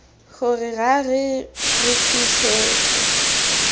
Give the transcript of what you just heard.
gore ra re re fitlhetse